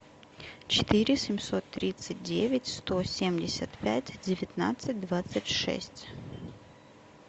четыре семьсот тридцать девять сто семьдесят пять девятнадцать двадцать шесть